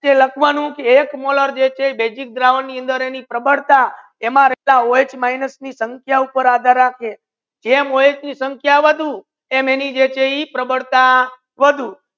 લાખવાનુ કે એક મોલ જે છે બેઝીક દ્રવણ ની અંદર એમ રહેતા ઓ હ ઓછા સાંખ્ય ઉપર જેમ ઓ હ ની સાંખ્ય વધસે એમ જેની જે પ્રબલતા વધુ